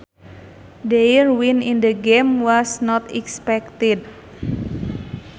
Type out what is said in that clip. Their win in the game was not expected